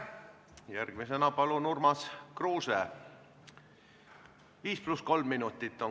Järgmisena palun Urmas Kruuse!